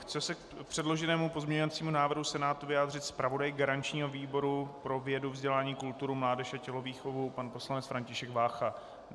Chce se k předloženému pozměňovacímu návrhu Senátu vyjádřit zpravodaj garančního výboru pro vědu, vzdělání, kulturu, mládež a tělovýchovu pan poslanec František Vácha?